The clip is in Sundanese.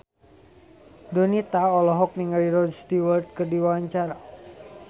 Donita olohok ningali Rod Stewart keur diwawancara